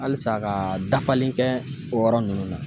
Halisa ka dafali kɛ o yɔrɔ nunnu na.